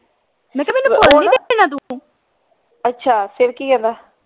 ਅੱਛਾ ਫੇਰ ਕਿ ਕਹਿੰਦਾ